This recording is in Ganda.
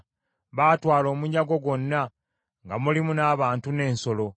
Baatwala omunyago gwonna, nga mulimu n’abantu n’ensolo;